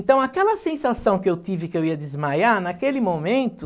Então, aquela sensação que eu tive que eu ia desmaiar, naquele momento...